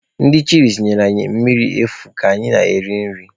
Ndị chịlịs nyere anyị mmiri efu ka anyị na-eri nri.